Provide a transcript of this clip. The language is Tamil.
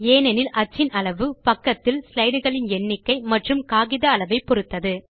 ஏனெனில் அச்சின் அளவு பக்கத்தில் ஸ்லைடு களின் எண்ணிக்கை மற்றும் காகித அளவை பொருத்தது